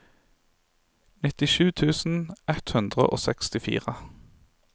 nittisju tusen ett hundre og sekstifire